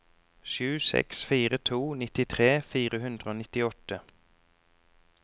sju seks fire to nittitre fire hundre og nittiåtte